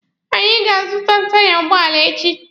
Anyị ga-azụta taiya ụgbọala echi.